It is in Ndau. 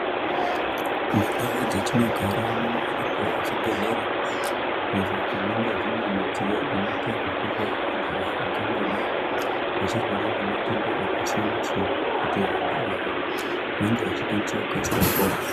Mundau dzatinogara munowanikwao zvibhedhlera izvo zvinenge zvine midziyo inoita zvekuhloya vanthu vangangodai vachirwara nematenda akasiyana siyana kuti vanthu ava vange vachikwanisa kukasira kupora.